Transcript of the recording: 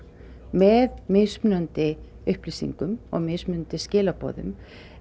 með mismunandi upplýsingum og mismunandi skilaboðum